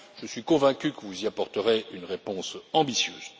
Je suis convaincu que vous y apporterez une réponse ambitieuse.